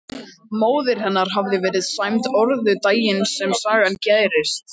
Móðir hennar hafði verið sæmd orðu daginn sem sagan gerist.